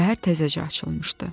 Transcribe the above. Səhər təzəcə açılmışdı.